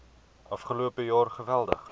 afgelope jaar geweldig